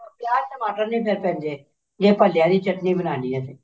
ਪਿਆਜ ਟਮਾਟਰ ਨੀ ਫ਼ੇਰ ਪੈਂਦੇ ਜੇ ਭੱਲਿਆਂ ਦੀ ਚਟਨੀ ਬਣਾਉਣੀ ਹੈ ਤੇ